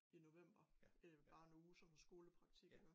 I november øh bare en uge som skolepraktik iggå